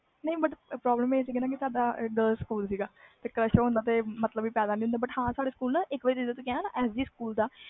ਨਹੀਂ but problem ਆਹ ਸੀ ਕਿ ਸਾਡਾ girls ਸਕੂਲ ਸੀ crash ਹੋਣ ਦਾ ਤੇ ਮਤਬਲ ਹੀ ਪੈਂਦਾ ਹੀ ਹੁੰਦਾ ਇਕ ਵਾਰ ਸਾਡੇ ਸਕੂਲ